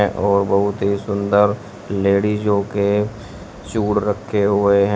और बहुत ही सुंदर लेडीजो के चूर्ण रखे हुए ह--